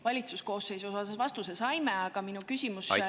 Valitsuse koosseisu kohta me vastuse saime, aga minu küsimus puudutab …